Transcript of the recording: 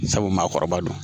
Sabu maakɔrɔba don